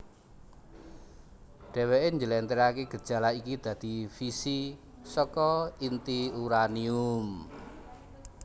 Dheweké njlentrehaké gejala iki dadi fisi saka inti uranium